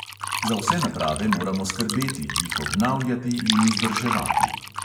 Za vse naprave moramo skrbeti, jih obnavljati in vzdrževati.